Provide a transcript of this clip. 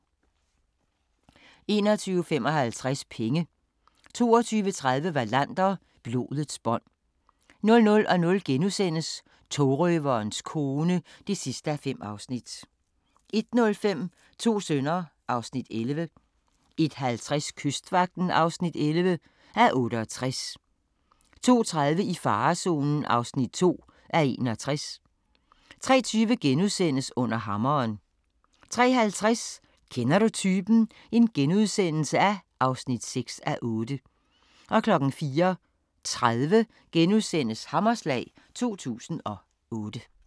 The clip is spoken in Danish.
21:55: Penge 22:30: Wallander: Blodets bånd 00:00: Togrøverens kone (5:5)* 01:05: To sønner (Afs. 11) 01:50: Kystvagten (11:68) 02:30: I farezonen (2:61) 03:20: Under hammeren * 03:50: Kender du typen? (6:8)* 04:30: Hammerslag 2008 *